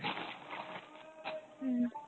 হুম।